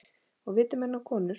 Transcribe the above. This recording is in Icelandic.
Og viti menn og konur.